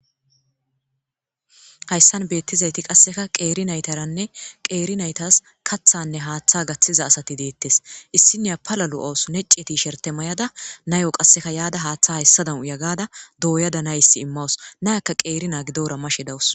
Hayisani betizayit qasekka qer nayitaranne qer nayitas kaththanne haaththa gaththiza asat detees issiniya pala loawus nece tisherite mayada nayo qasekka yada haaththa hayisadani uya gada doyada nayis imawus nayakka qer na giddora mashe dawus